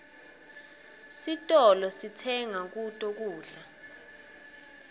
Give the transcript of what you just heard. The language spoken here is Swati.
titolo sitsenga kuto kudla